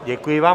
Děkuji vám.